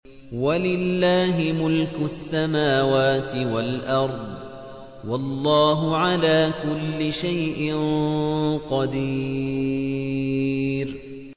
وَلِلَّهِ مُلْكُ السَّمَاوَاتِ وَالْأَرْضِ ۗ وَاللَّهُ عَلَىٰ كُلِّ شَيْءٍ قَدِيرٌ